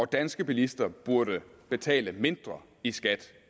danske bilister burde betale mindre i skat